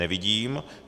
Nevidím.